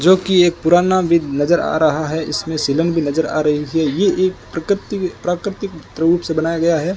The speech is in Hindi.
जोकि एक पुराना विद नज़र आ रहा है इसमें सीलन भी नज़र आ रही है ये एक प्रकृति प्राकृतिक प्राउड से बनाया गया है।